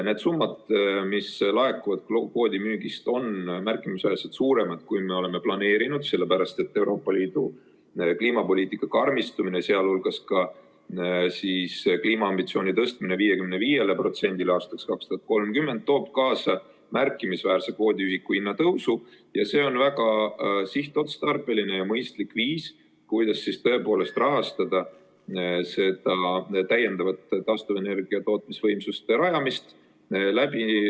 Need summad, mis laekuvad kvoodimüügist, on märkimisväärselt suuremad, kui me oleme planeerinud, sellepärast et Euroopa Liidu kliimapoliitika karmistumine, sh kliimaambitsiooni tõstmine 55%-le aastaks 2030 toob kaasa märkimisväärse kvoodiühiku hinnatõusu ja see on väga sihtotstarbeline ja mõistlik viis, kuidas rahastada täiendavat taastuvenergia tootmisvõimsuste rajamist.